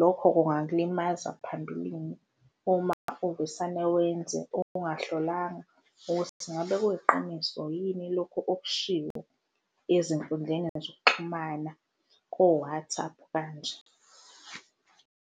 Lokho kungakulimaza phmbilini uma uvesane wenze ungahlalanga ukuthi ngabe kuyiqiniso yini lokhu okushiwo ezinkundleni zokuxhumana ko-WhatsApp kanje.